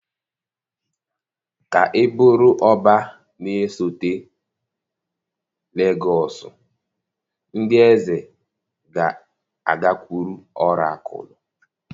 Ka ị bụrụ Ọbá na-esote Legọs ndị eze ga-agakwuru ọrakụlụ